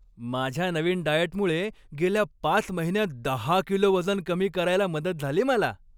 माझ्या नवीन डाएटमुळे गेल्या पाच महिन्यांत दहा किलो वजन कमी करायला मदत झाली मला.